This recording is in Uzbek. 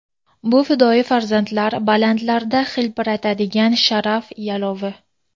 Bu fidoyi farzandlar balandlarda hilpiratadigan sharaf yalovi!.